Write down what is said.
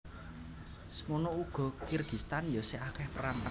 Semono ugo Kirgistan yo sih akeh perang